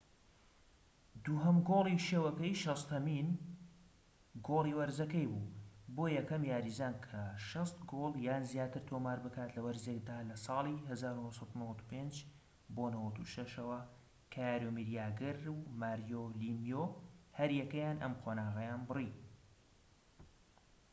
دووهەم گۆڵی شەوەکەی، شەستەهەمین گۆڵی وەرزەکەی بوو، بووە یەکەم یاریزان کە ٦٠ گۆڵ یان زیاتر تۆمار بکات لە وەرزێکدا لە ساڵی ١٩٩٥-٩٦ ەوە، کە یارۆمیر یاگر و ماریۆ لیمیو هەریەکەیان ئەم قۆناغەیان بڕی